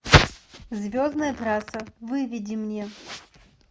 звездная трасса выведи мне